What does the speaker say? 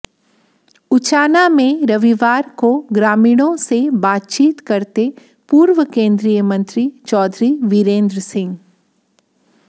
उचाना में रविवार को ग्रामीणों से बातचीत करते पूर्व केंद्रीय मंत्री चौधरी बीरेंद्र सिंह